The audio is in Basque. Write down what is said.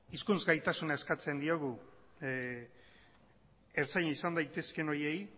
hizkuntz gaitasuna eskatzen diogu ertzaina izan daitezke horiei